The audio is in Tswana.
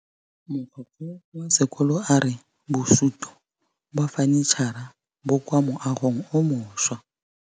Mogokgo wa sekolo a re bosutô ba fanitšhara bo kwa moagong o mošwa.